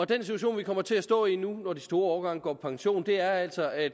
den situation vi kommer til at stå i nu når de store årgange går på pension er altså at